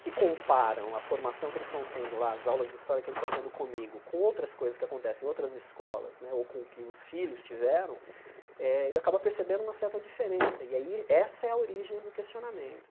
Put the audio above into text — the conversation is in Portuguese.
que comparam a formação que eles estão tendo lá, as aulas de história que eles estão tendo comigo com outras coisas que acontecem em outras escolas né, ou com o que os filhos tiveram, eh ele acaba percebendo uma certa diferença, e aí essa é a origem do questionamento.